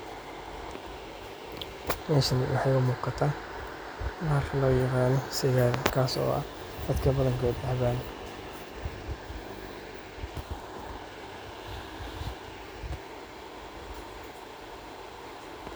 Howshaan waxay umugata bahasha loyagano sagaar taas oo dadka badankodh cabaan.